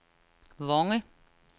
Vonge